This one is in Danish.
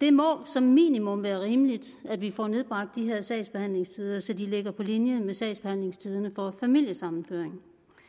det må som minimum være rimeligt at vi får nedbragt de her sagsbehandlingstider så de ligger på linje med sagsbehandlingstiderne for familiesammenføring